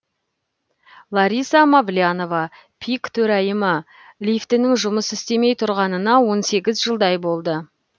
лариса мавлянова пик төрайымы лифтінің жұмыс істемей тұрғанына он сегіз жылдай болды